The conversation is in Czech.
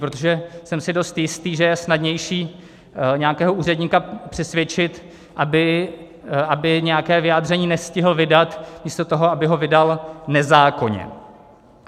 Protože jsem si dost jistý, že je snadnější nějakého úředníka přesvědčit, aby nějaké vyjádření nestihl vydat, místo toho, aby ho vydal nezákonně.